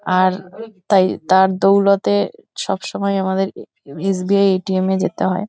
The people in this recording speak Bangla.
আর তাই তার দৌলতে সবসময়ে আমাদেরকে এস.বি.আই. এ.টি.এম. -এ যেতে হয় ।